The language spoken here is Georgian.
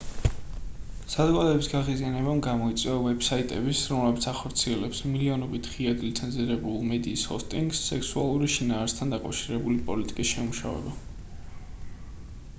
საზოგადოების გაღიზიანებამ გამოიწვია ვებ-საიტების რომლებიც ახორციელებს მილიონობით ღიად ლიცენზირებულ მედიის ჰოსტინგს სექსუალური შინაარსთან დაკავშირებული პოლიტიკის შემუშავება